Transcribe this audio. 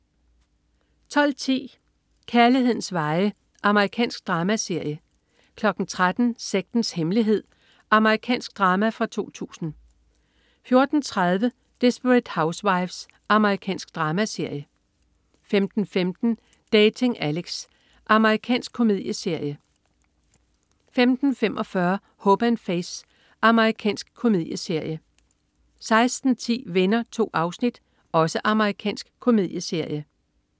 12.10 Kærlighedens veje. Amerikansk dramaserie 13.00 Sektens hemmelighed. Amerikansk drama fra 2000 14.30 Desperate Housewives. Amerikansk dramaserie 15.15 Dating Alex. Amerikansk komedieserie 15.45 Hope & Faith. Amerikansk komedieserie 16.10 Venner. 2 afsnit. Amerikansk komedieserie